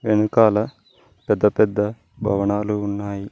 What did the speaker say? వెనకాల పెద్ద పెద్ద భవనాలు ఉన్నాయి.